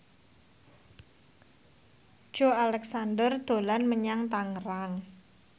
Joey Alexander dolan menyang Tangerang